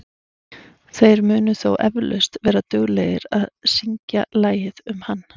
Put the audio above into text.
Þeir munu þó eflaust vera duglegir að syngja lagið um hann.